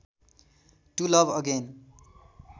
to love again